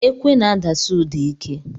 Ekwe n'adasi ụda ike.